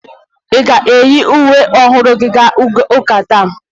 Ị ga-eyi uwe ọhụrụ gị gaa ụka taa?